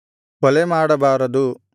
ಕೊಲೆ ಮಾಡಬಾರದು